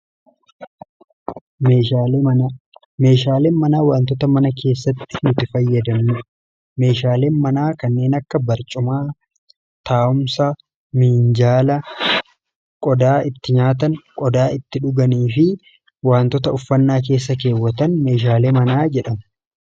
meeshaalen manaa wantoota mana keessatti nuti fayyadam ni meeshaalen manaa kanneen akka barcumaa taawumsa miinjaala qodaa itti nyaatan qodaa itti dhuganii fi wantoota uffannaa keessa keewwatan meeshaalee manaa jedhama.